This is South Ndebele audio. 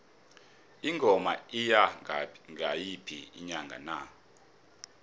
ingoma iya ngayiphi inyanga na